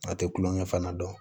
A tɛ kulonkɛ fana dɔn